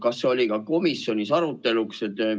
Kas see oli komisjonis aruteluks?